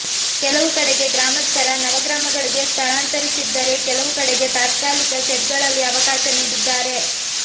ಕೆಲವು ಕಡೆಗೆ ಗ್ರಾಮಸ್ಥರ ನವ ಗ್ರಾಮಗಳಿಗೆ ಸ್ಥಳಾಂತರಿಸಿದ್ದರೆ ಕೆಲವು ಕಡೆಗೆ ತಾತ್ಕಾಲಿಕ ಶೆಡ್ ಗಳಲ್ಲಿ ಅವಕಾಶ ನೀಡಿದ್ದಾರೆ